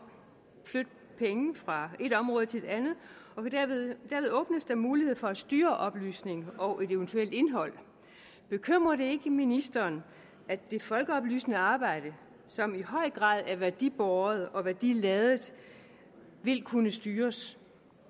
flytte penge fra et område til et andet og derved åbnes der mulighed for at styre oplysningen og eventuelt indholdet bekymrer det ikke ministeren at det folkeoplysende arbejde som i høj grad er værdibåret og værdiladet vil kunne styres